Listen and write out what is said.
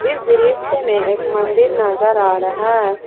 इस दृश्य में एक मंदिर नजर आ रहा है।